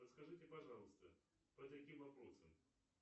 расскажите пожалуйста по таким вопросам